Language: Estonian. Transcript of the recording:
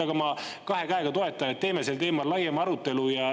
Aga ma kahe käega toetan seda, et teeme sel teemal laiema arutelu.